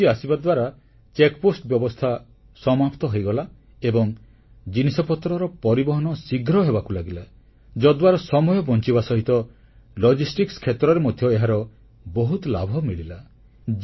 GST ଆସିବା ଦ୍ୱାରା ତନଖି ଫାଟକ ବ୍ୟବସ୍ଥା ସମାପ୍ତ ହୋଇଗଲା ଏବଂ ଜିନିଷପତ୍ରର ପରିବହନ ଶୀଘ୍ର ହେବାକୁ ଲାଗିଲା ଯଦ୍ୱାରା ସମୟ ବଂଚିବା ସହିତ Logisticsକ୍ଷେତ୍ରରେ ମଧ୍ୟ ଏହାର ବହୁତ ଲାଭ ମିଳିଲା